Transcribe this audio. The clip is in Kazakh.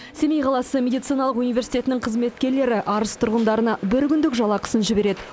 семей қаласы мединициналық университетінің қызметкерлері арыс тұрғындарына бір күндік жалақысын жібереді